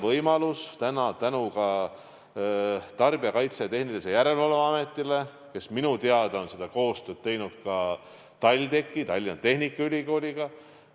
Aga tänu Tarbijakaitse ja Tehnilise Järelevalve Ametile, kes minu teada on koostööd teinud ka TalTechiga, Tallinna Tehnikaülikooliga,